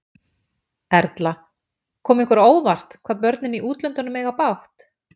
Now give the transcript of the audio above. Erla: Kom ykkur á óvart, hvað börnin í útlöndum eiga bágt?